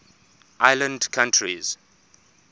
island countries